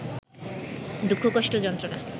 দুঃখ-কষ্ট-যন্ত্রণা